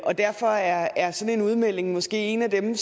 og derfor er er sådan en udmelding måske en af dem